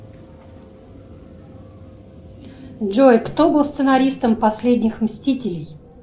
джой кто был сценаристом последних мстителей